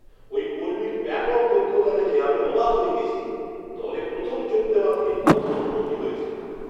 ওই কর্মীর ব্যাপক দক্ষতা দেখে আমি অবাক হয়ে গেছি, দলে প্রথম যোগ দেওয়া থেকে কত উন্নতি হয়েছে!